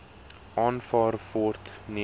aanvaar word nie